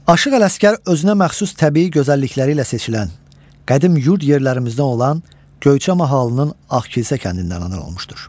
Aşıq Ələsgər özünə məxsus təbii gözəllikləri ilə seçilən, qədim yurd yerlərimizdən olan Göyçə mahalının Ağkilsə kəndindən anadan olmuşdur.